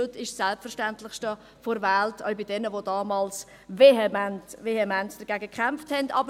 Heute ist es das Selbstverständlichste der Welt, auch für jene, die damals vehement, vehement dagegen kämpften.